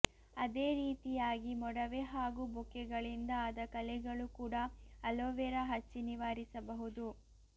ಅದೇ ರೀತಿಯಾಗಿ ಮೊಡವೆ ಹಾಗೂ ಬೊಕ್ಕೆಗಳಿಂದ ಆದ ಕಲೆಗಳು ಕೂಡ ಅಲೋವೆರಾ ಹಚ್ಚಿ ನಿವಾರಿಸಬಹುದು